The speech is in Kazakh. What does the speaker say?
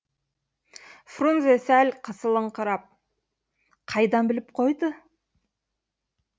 фрунзе сәл қысылыңқырап қайдан біліп қойды